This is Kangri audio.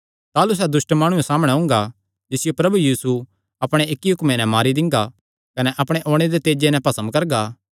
ताह़लू सैह़ दुष्ट माणुये सामणै ओंगा जिसियो प्रभु यीशु अपणे इक्की हुक्मे नैं मारी दिंगा कने अपणे ओणे दे तेजे नैं भस्म करगा